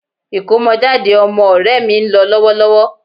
Ìkómọjáde ọmọ ọ̀rẹ́ mi ń lọ lọ́wọ́lọ́wọ́